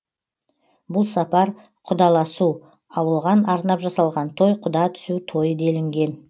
бұл сапар құдаласу ал оған арнап жасалған той құда түсу тойы делінген